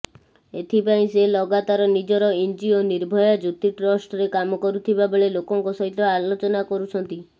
ଏଥିପାଇଁ ସେ ଲଗାତାର ନିଜର ଏନଜିଓ ନିର୍ଭୟା ଜ୍ୟୋତି ଟ୍ରଷ୍ଟରେ କାମ କରୁଥିବା ଲୋକଙ୍କ ସହିତ ଆଲୋଚନା କରୁଛନ୍ତି